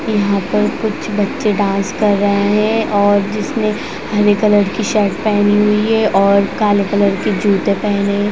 यहां पर कुछ बच्चे डांस कर रहे है और जिसने हरे कलर की शर्ट पहनी हुई है और काले कलर की जूते पहनी --